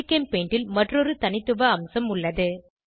ஜிகெம்பெயிண்டில் மற்றொரு தனித்துவ அம்சம் உள்ளது